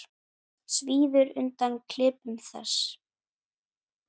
Svíður undan klipum þess.